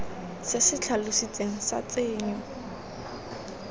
se se tlhalositsweng sa tshenyo